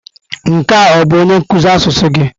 Nke a ọ bụ onye nkuzi asụsụ gị?